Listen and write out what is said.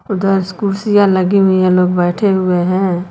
उधर कुर्सियां लगी हुई हैं लोग बैठे हुए हैं।